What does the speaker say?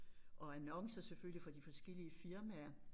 Og annoncer selvfølgelig for de forskellige firmaer